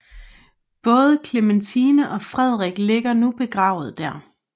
Både Clementine og Frederik ligger nu begravet der